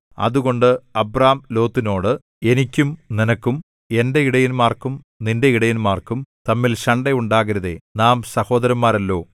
അതുകൊണ്ട് അബ്രാം ലോത്തിനോട് എനിക്കും നിനക്കും എന്റെ ഇടയന്മാർക്കും നിന്റെ ഇടയന്മാർക്കും തമ്മിൽ ശണ്ഠ ഉണ്ടാകരുതേ നാം സഹോദരന്മാരല്ലോ